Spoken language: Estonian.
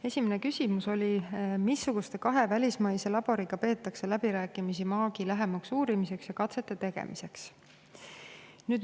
Esimene küsimus oli: "Missuguste kahe välismaise laboriga peetakse läbirääkimisi maagi lähemaks uurimiseks ja katsete tegemiseks?